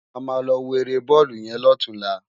Ámá lò wó éré bòlú yèn lòtúnlá